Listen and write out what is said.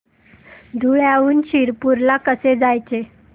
धुळ्याहून शिरपूर ला कसे जायचे